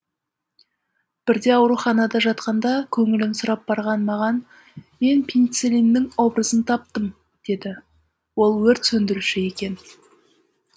бірде ауруханада жатқанда көңілін сұрап барған маған мен пеницеллиннің образын таптым деді ол өрт сөндіруші екен